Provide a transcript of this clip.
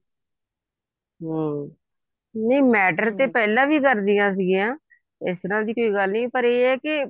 ਹਮ ਨਹੀਂ matter ਤੇ ਪਹਿਲਾਂ ਵੀ ਕਰਦੀਆਂ ਸੀਗੀਆਂ ਇਸ ਤਰ੍ਹਾਂ ਦੀ ਕੋਈ ਗੱਲ ਨੀ ਪਰ ਇਹ ਹੈ ਕੇ